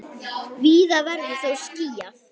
Víða verður þó skýjað.